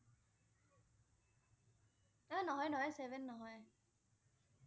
এ নহয় নহয় seven নহয়।